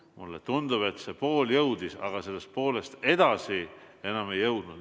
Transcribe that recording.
Mulle tundub, et pool jõudis, aga sellest poolest edasi enam ei jõudnud.